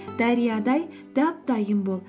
дариядай дап дайын бол